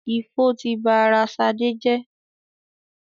Ifo ti ba ara Ṣadé jẹ́.